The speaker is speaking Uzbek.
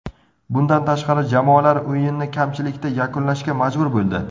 Bundan tashqari, jamoalar o‘yinni kamchilikda yakunlashga majbur bo‘ldi.